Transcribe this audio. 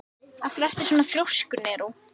Af hverju ertu svona þrjóskur, Neró?